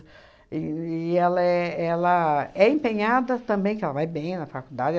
E e ela é ela é empenhada também, porque ela vai bem na faculdade.